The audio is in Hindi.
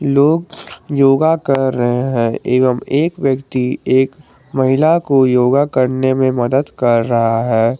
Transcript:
लोग योगा कर रहे हैं एवं एक व्यक्ति एक महिला को योगा करने में मदद कर रहा है।